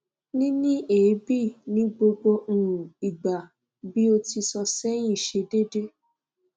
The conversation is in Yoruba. níní èébì ni gbogbo um ìgbà bí o ti sọ sẹ́yin ṣe déédé